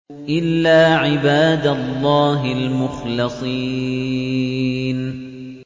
إِلَّا عِبَادَ اللَّهِ الْمُخْلَصِينَ